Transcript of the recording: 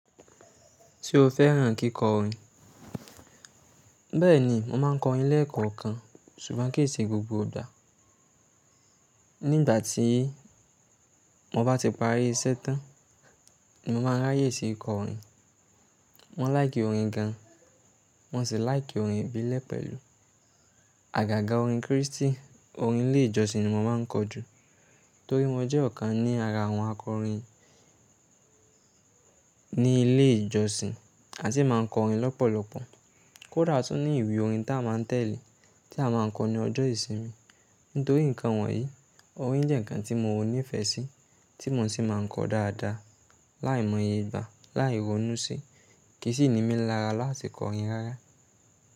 Tí o fẹ́ràn kíkọ orin. Bẹ́ẹ̀ni, mo máa ń kọ orin lẹ́ẹ̀kọ̀kan ṣùgbọ́n kì í ṣe gbogbo igba. Nígbà tí mo bá ti parí iṣẹ́ tán, mo máa ń ráyè sí ikọ orin. Mo láìkì orin gan, mo sì láìkì orin ìbílẹ̀ pẹ̀lú àgàgà orin Kristì, orin ilé ìjọsìn ni mo máa ń kọ jù. Torí mo jẹ́ ọ̀kan ní ara àwọn akọrin ní ilé ìjọsìn àti máa ń kọ orin lọ́pọ̀lọpọ̀. Kódà tún ní ìwé orin ta a máa ń tẹ̀lé, tí a máa ń kọ ní ọjọ́ ìsinmi. Nítorí nǹkan wọ̀nyí, orin jẹ́ nǹkan tí mo ní ìfẹ́ sí, tí mo sì máa ń kọ dáadáa, láìmọye ìgbà, láì ronú sí, kì í sì ni mí lára láti kọ orin rárá.